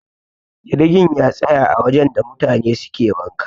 jirgin ya tsaya a wajen da mutane suke wanka